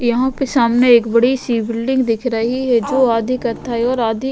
यहां पे सामने एक बड़ी सी बिल्डिंग दिख रही है जो आधी कथाई और आधी --